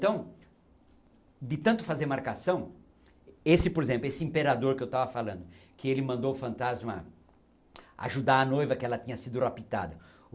Então, de tanto fazer marcação... Esse, por exemplo, esse imperador que eu estava falando, que ele mandou o fantasma ajudar a noiva que ela tinha sido raptada.